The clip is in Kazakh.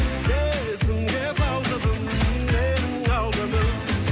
сезімге балқыдым менің алтыным